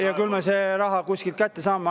… ja küll me selle raha kuskilt kätte saame.